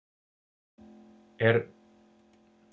En kornrækt er alltaf að aukast?